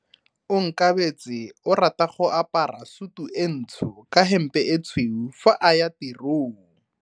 Onkabetse o rata go apara sutu e ntsho ka hempe e tshweu fa a ya tirong.